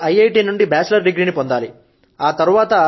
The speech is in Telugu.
నేను మొదట ఐఐటి నుండి బ్యాచిలర్ డిగ్రీ ని పొందాలి